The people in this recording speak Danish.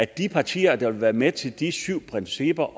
de partier der ville være med til de syv principper